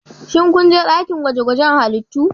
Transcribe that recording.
Shin kun je dakin gwaje-gwajen halittu?